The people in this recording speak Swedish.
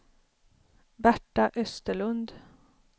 Berta Österlund